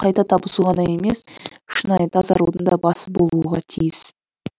қайта табысу ғана емес шынайы тазарудың да басы болуға тиіс